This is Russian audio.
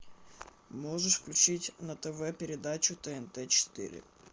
можешь включить на тв передачу тнт четыре